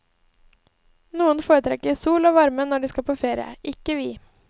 Noen foretrekker sol og varme når de skal på ferie, ikke vi.